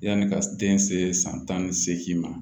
Yanni ka den se san tan ni seegin ma